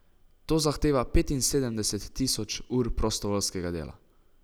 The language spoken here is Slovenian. To zahteva petinsedemdeset tisoč ur prostovoljskega dela.